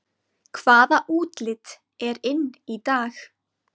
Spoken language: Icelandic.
Hvaða útlit er inn í dag